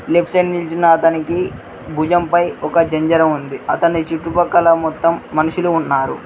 Left side నించున్న అతనికి భుజంపై ఒక జెంజర ఉంది అతని చుట్టుపక్కల మొత్తం మనుషులు ఉన్నారు.